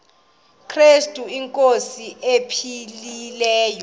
krestu inkosi ephilileyo